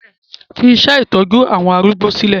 Fi iṣẹ́ ìtọ́jú àwọn arúgbó sílẹ̀!